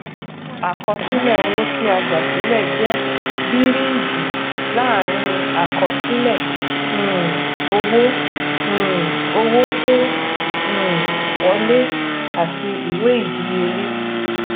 àkọsílẹ owó tí a gbà sílẹ jẹ bíríìjí láàrin àkọsílẹ um owó um owó tó um wolẹ àti ìwé ìdíyelé